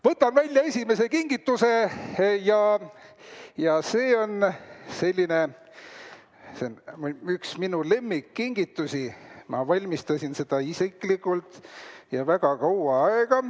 Võtan välja esimese kingituse ja see on selline üks minu lemmikkingitusi, ma valmistasin seda isiklikult ja väga kaua aega.